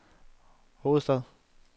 hovedstad